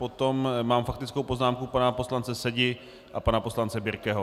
Potom mám faktickou poznámku pana poslance Sedi a pana poslance Birkeho.